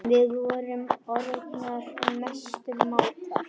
Við vorum orðnar mestu mátar.